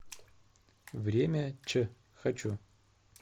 время ч хочу